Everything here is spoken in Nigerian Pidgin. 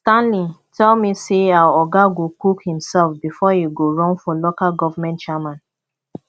stanley tell me say our oga go cook himself before e go run for local government chairman